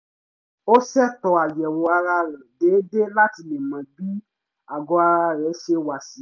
ó ṣẹ̀tò àyẹ̀wò ara déédéé láti lè mọ bí àgọ́ ara rẹ̀ ṣe wà sí